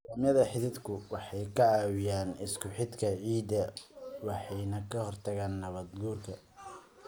Nidaamyada xididku waxay caawiyaan isku-xidhka ciidda waxayna ka hortagaan nabaad-guurka.